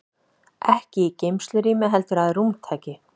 Ekki í geymslurými heldur að rúmtaki.